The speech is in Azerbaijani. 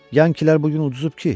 Yankilər bu gün uduzub ki.